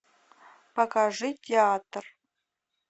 покажи театр